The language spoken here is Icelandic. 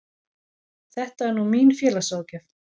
Þetta er nú mín félagsráðgjöf.